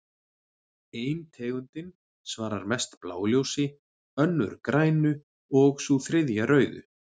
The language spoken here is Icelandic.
Ein tegundin svarar mest bláu ljósi, önnur grænu og sú þriðja rauðu.